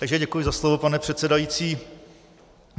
Takže děkuji za slovo, pane předsedající.